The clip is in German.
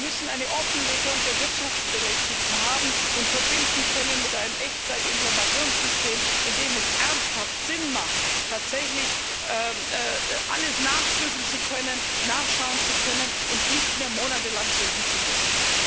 Wir müssen eine Offenlegung der Wirtschaftsberechtigten haben und mit einem Echtzeit Informationssystem verbinden können, in dem es ernsthaft Sinn macht, tatsächlich alles nachprüfen zu können, nachschauen zu können und nicht mehr monatelang suchen zu müssen.